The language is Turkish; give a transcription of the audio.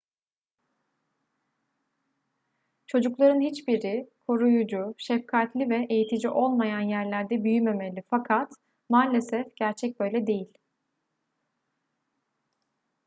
çocukların hiçbiri koruyucu şefkatli ve eğitici olmayan yerlerde büyümemeli fakat maalesef gerçek böyle değil